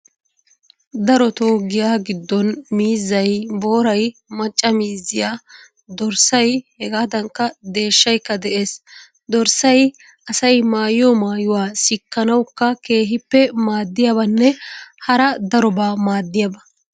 Darotoo giyaa giddon miizzay, booray, macca miizziya, dorssay hegaadankka deeshshaykka de'ees. Dorssay asay maayiyo. maayuwa sikkanawukk keehippe maaddiyabanne hara darobaa maaddiyaba.